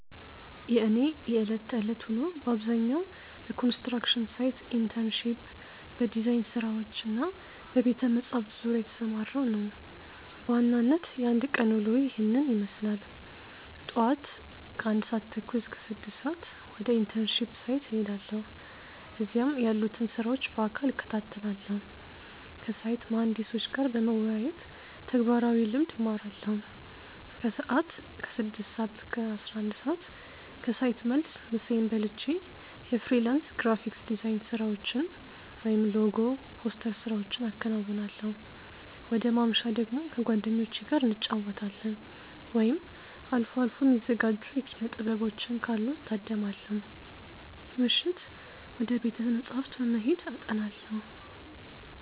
የእኔ የዕለት ተዕለት ውሎ በአብዛኛው በኮንስትራክሽን ሳይት ኢንተርንሺፕ፣ በዲዛይን ስራዎች እና በቤተ-መጻሕፍት ዙሪያ የተሰማራ ነው። በዋናነት የአንድ ቀን ውሎዬ ይህንን ይመስላል፦ ጧት (ከ1:30 - 6:00)፦ ወደ ኢንተርንሺፕ ሳይት እሄዳለሁ። እዚያም ያሉትን ስራዎች በአካል እከታተላለሁ። ከሳይት መሃንዲሶች ጋር በመወያየት ተግባራዊ ልምድ እማራለሁ። ከሰዓት (ከ6:00 - 11:00)፦ ከሳይት መልስ ምሳዬን በልቼ የፍሪላንስ ግራፊክ ዲዛይን ስራዎችን (ሎጎ፣ ፖስተር ስራዎቼን አከናውናለሁ። ወደ ማምሻ ደግሞ፦ ከጓደኞቼ ጋር እንጫወታለን፣ ወይም አልፎ አልፎ የሚዘጋጁ የኪነ-ጥበቦችን ካሉ እታደማለሁ። ምሽት፦ ወደ ቤተ-መጻሕፍት በመሄድ አጠናለሁ።